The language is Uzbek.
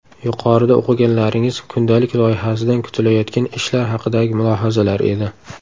Yuqorida o‘qiganlaringiz kundalik loyihasidan kutilayotgan ishlar haqidagi mulohazalar edi.